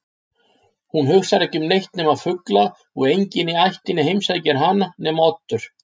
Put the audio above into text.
Hún hugsar ekki um neitt nema fugla og enginn í ættinni heimsækir hana nema Oddur.